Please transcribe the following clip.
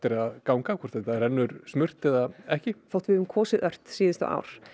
að ganga hvort þetta rennur smurt eða ekki þótt við höfum kosið ört síðustu ár